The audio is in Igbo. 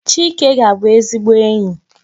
Chike ga-abu ezigbo enyi